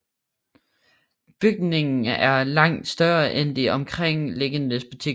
Bygningen er langt større end de omkringliggende butikker